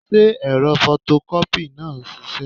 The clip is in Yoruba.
Ṣé ẹ̀rọ fọtọkọ́pì náà ń ṣiṣẹ́?